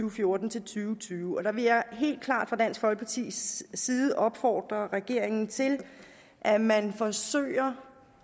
og fjorten til tyve tyve og der vil jeg helt klart fra dansk folkepartis side opfordre regeringen til at man forsøger